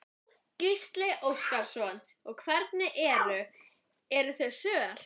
Gísli Óskarsson: Og hvernig eru, eru þau söl?